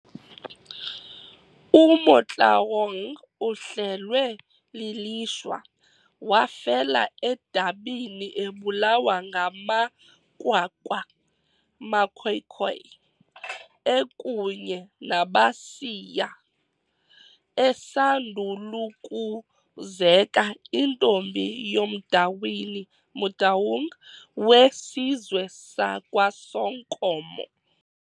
UMotloang uhlelwe lilishwa, wafela edabini ebulawa ngamaKwakwa, maKhoakhoa, ekunye nabaSiya, esandul'ukuzeka intombi yomDawini, Motaung, wesizwe sakwaSonkomo.